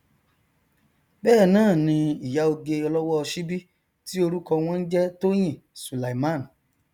bẹẹnáàni ìyá oge ọlọwọ ọ síbí ti orúkọ wọn n jẹ tóyìn sùlàìmán